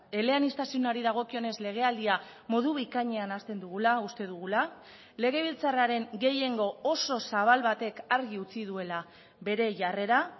eleaniztasunari dagokionez legealdia modu bikainean hazten dugula uste dugula legebiltzarraren gehiengo oso zabal batek argi utzi duela bere jarrera